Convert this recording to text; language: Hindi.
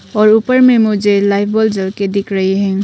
और ऊपर में मुझे लाइट बल्ब जल के दिख रही है।